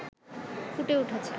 ফুটে উঠেছে